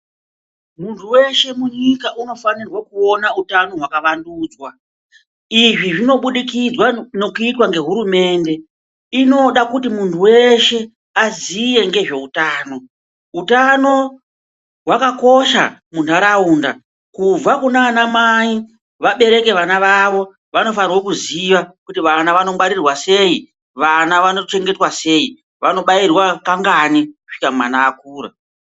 Muntu weshe munyika unofanirwa kuona utano hwakavandudzwa. Izvi zvinobudikidzwa ngekuitwa ngehurumende. Inoda kuti muntu weshe aziye ngezveutano. Hutano hwakakosha muntaraunda. Kubva kunanamai vabereke vana vavo, vanofanirwa kuziva kuti vana vanongwarirwa sei, vanochengetwa sei, vanobairwa kangani kusvika mwana akura.